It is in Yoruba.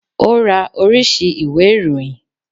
O ra oríṣi ìwé ìròyìn.